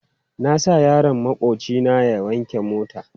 Na sa yaron maƙwabci na wanke mota.